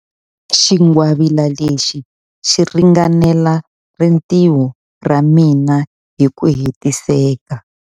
Xingwavila lexi xi ringanela rintiho ra mina hi ku hetiseka.